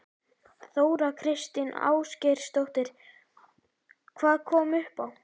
Þóra Kristín Ásgeirsdóttir: Hvað kom upp á?